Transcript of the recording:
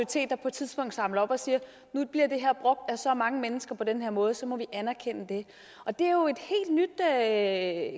tidspunkt samler op og siger nu bliver det her brugt af så mange mennesker på den her måde og så må vi anerkende det og det her